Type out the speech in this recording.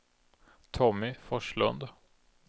Tommy Forslund